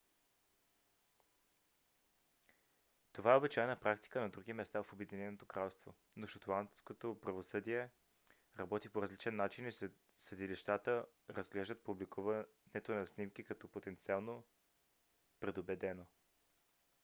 това е обичайна практика на други места в обединеното кралство но шотландското правосъдие работи по различен начин и съдилищата разглеждат публикуването на снимки като потенциално предубедено